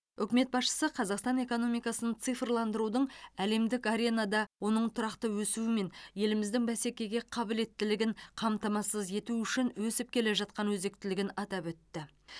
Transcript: үкімет басшысы қазақстан экономикасын цифрландырудың әлемдік аренада оның тұрақты өсуі мен еліміздің бәсекеге қабілеттілігін қамтамасыз ету үшін өсіп келе жатқан өзектілігін атап өтті